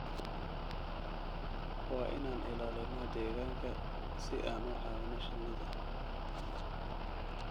Waa inaan ilaalinaa deegaanka si aan u caawino shinnida.